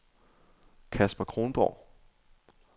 Casper Kronborg